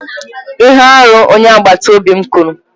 Ihe arụ, onye agbata obi m kwuru.